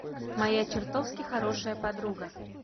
моя чертовски хорошая подруга